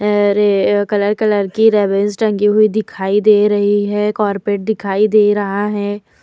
अरे अ colour colour की रेबेन्स टंगी हुई दिखाई दे रही हैं। कोरपेट दिखाई दे रहा है।